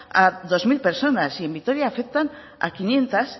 a dos mil personas y en vitoria afectan a quinientos